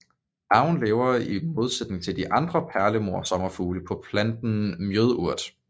Larven lever i modsætning til de andre perlemorsommerfugle på planten mjødurt